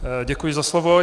Děkuji za slovo.